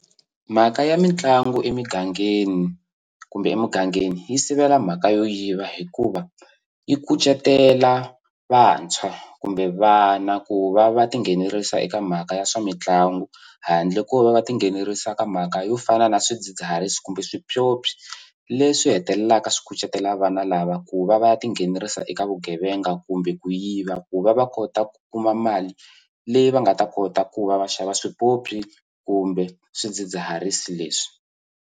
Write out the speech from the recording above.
Mhaka ya mitlangu emugangeni kumbe emugangeni yi sivela mhaka yo yiva hikuva yi kucetela vantshwa kumbe vana ku va va tinghenelerisa eka mhaka ya swa mitlangu handle ko va va tinghenelerisa ka mhaka yo fana na swidzidziharisi kumbe swipyopyi leswi hetelelaka swi kucetela vana lava ku va va tinghenelerisa eka vugevenga kumbe ku yiva ku va va kota ku kuma mali leyi va nga ta kota ku va va xava swipyopyi kumbe swidzidziharisi leswi.